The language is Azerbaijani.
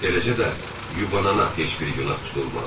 Eləcə də yubanana heç bir günah tutulmaz.